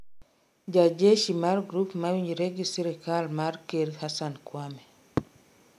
ja jeshi mar grup ma winjre gi sirkal mar ker Hassan Kwame